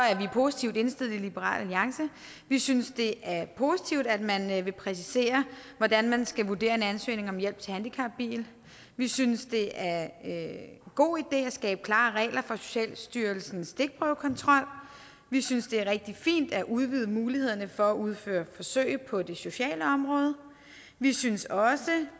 er vi positivt indstillet i liberal alliance vi synes det er positivt at man vil præcisere hvordan man skal vurdere en ansøgning om hjælp til handicapbil vi synes det er en god idé at skabe klare regler for socialstyrelsens stikprøvekontrol vi synes det er rigtig fint at udvide mulighederne for at udføre forsøg på det sociale område vi synes også